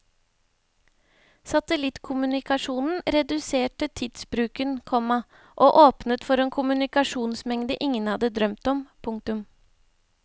Satellittkommunikasjon reduserte tidsbruken, komma og åpnet for en kommunikasjonsmengde ingen hadde drømt om. punktum